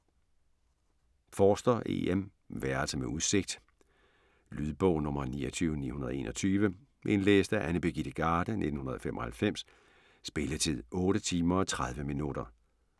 Forster, E. M.: Værelse med udsigt Lydbog 29921 Indlæst af Annie Birgit Garde, 1995. Spilletid: 8 timer, 30 minutter.